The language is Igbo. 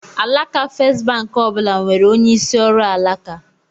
Alaka Festbank ọ bụla nwere onye isi ọrụ alaka.